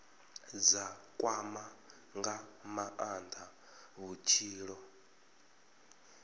dza kwama nga maanda vhutshilo